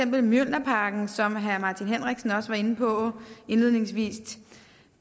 mjølnerparken som herre martin henriksen også var inde på indledningsvis